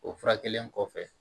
O furakɛli kɔfɛ